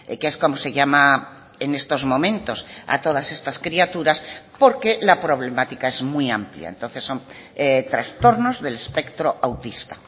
que es como se llama en estos momentos a todas estas criaturas porque la problemática es muy amplia entonces son trastornos del espectro autista